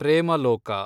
Premaloka